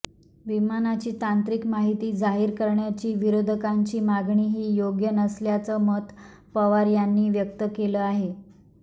विमानाची तांत्रिक माहिती जाहीर करण्याची विरोधकांची मागणीही योग्य नसल्याचं मत पवार यांनी व्यक्त केलं आहे